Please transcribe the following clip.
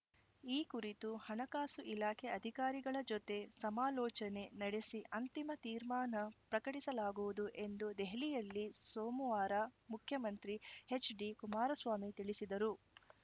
ಈ ಕುರಿತು ಹಣಕಾಸು ಇಲಾಖೆ ಅಧಿಕಾರಿಗಳ ಜೊತೆ ಸಮಾಲೋಚನೆ ನಡೆಸಿ ಅಂತಿಮ ತೀರ್ಮಾನ ಪ್ರಕಟಿಸಲಾಗುವುದು ಎಂದು ದೆಹಲಿಯಲ್ಲಿ ಸೋಮವಾರ ಮುಖ್ಯಮಂತ್ರಿ ಎಚ್‌ಡಿಕುಮಾರಸ್ವಾಮಿ ತಿಳಿಸಿದರು